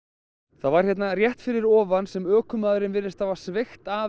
það var hérna rétt fyrir ofan sem ökumaðurinn virðist hafa sveigt af